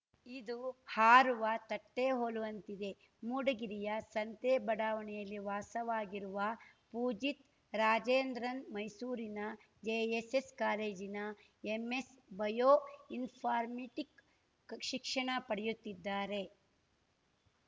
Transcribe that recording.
ಇದು ಹಾರುವ ತಟ್ಟೆಹೋಲುವಂತಿದೆ ಮೂಡಗಿರಿಯ ಸಂತೆ ಬಡಾವಣೆಯಲ್ಲಿ ವಾಸವಾಗಿರುವ ಪೂಜಿತ್‌ ರಾಜೇಂದ್ರನ್‌ ಮೈಸೂರಿನ ಜೆಎಸ್‌ಎಸ್‌ ಕಾಲೇಜಿನ ಎಂಎಸ್ ಬಯೋ ಇನ್‌ಫಾರ್ಮಿಟಿಕ್‌ ಶಿಕ್ಷಣ ಪಡೆಯುತ್ತಿದ್ದಾರೆ